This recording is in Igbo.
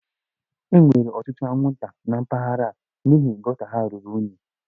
E nwere ọtụtụ anwụnta na mpaghara a n'ihi gota ha ruru unyi